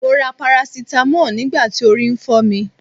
Mo ra parasitamọ́ọ̀ nígbà tí orí ń fọ́ mi.